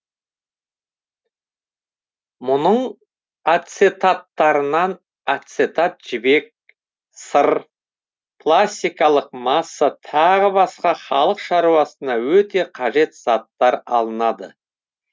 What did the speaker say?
мұның ацетаттарынан ацетат жібек сыр пластикалық масса тағы басқа халық шаруасына өте қажет заттар алынады